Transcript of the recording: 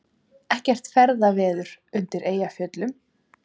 Ekkert ferðaveður undir Eyjafjöllum